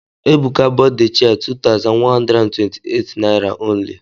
Ebuka bought the chair two thousand one hundred and twenty eight naira only.